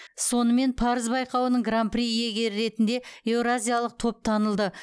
сонымен парыз байқауының гран при иегері ретінде еуразиялық топ танылды